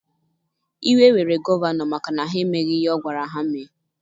Iwe were gọvanọ maka na ha emeghị ihe ọ gwara ha mee.